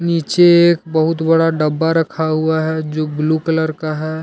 नीचे एक बहुत बड़ा डब्बा रखा हुआ है जो ब्लू कलर का है।